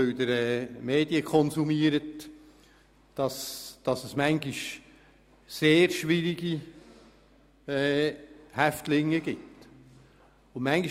Da Sie Medien konsumieren, ist Ihnen allen bekannt, dass es manchmal sehr schwierige Häftlinge geben kann.